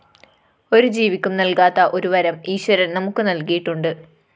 ഒരു ജീവിക്കും നല്‍കാത്ത ഒരു വരം ഈശ്വരന്‍ നമുക്ക് നല്‍കിയിട്ടുണ്ട്